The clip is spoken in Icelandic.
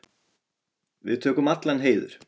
Við tökum allan heiður.